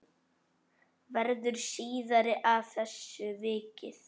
Verður síðar að þessu vikið.